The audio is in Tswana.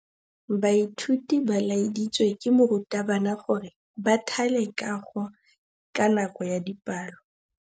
Baithuti ba laeditswe ke morutabana gore ba thale kagô ka nako ya dipalô.